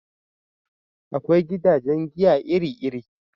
Akwai gidajen giya iri iri